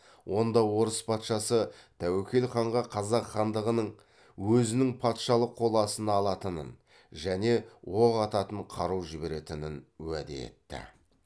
онда орыс патшасы тәуекел ханға қазақ хандығының өзінің патшалық қол астына алатынын және оқ ататын қару жіберетінін уәде етті